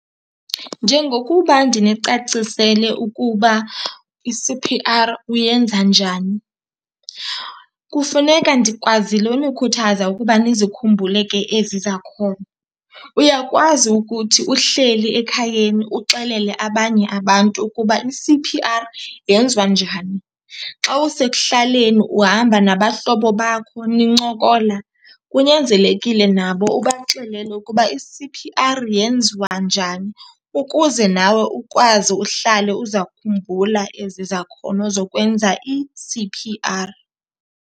Njengokuba ndinicacisele ukuba i-C_P_R uyenza njani, kufuneka ndikwazile unikhuthaza ukuba nizikhumbule ke ezi zakhono. Uyakwazi ukuthi uhleli ekhayeni uxelele abanye abantu ukuba i-C_P_R yenziwa njani. Xa usekuhlaleni uhamba nabahlobo bakho nincokola kunyanzelekile nabo ubaxelele ukuba i-C_P_R yenziwa njani ukuze nawe ukwazi uhlale uzakhumbula ezi zakhono zokwenza i-C_P_R.